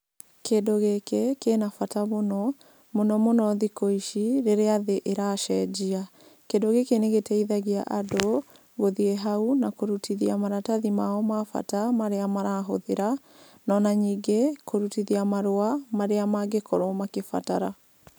Kĩndũ gĩki kĩna bata mũno, mũno mũno thikũ ici rĩrĩa thĩ ĩracenjia. Kĩndũ gĩkĩ nĩ gĩteithagia andũ gũthiĩ hau na kũrutithia maratathi mao bata marĩa marahũthĩra no ona ningĩ kũrutithia marũa marĩa mangĩkorwo makĩbatara.